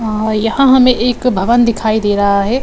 अ यहाँ हमें एक भवन दिखाई दे रहा है।